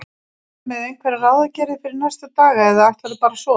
Ertu með einhverjar ráðagerðir fyrir næstu daga eða ætlarðu bara að sofa?